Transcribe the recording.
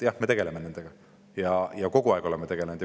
Jah, me tegeleme nende asjadega ja oleme kogu aeg tegelenud.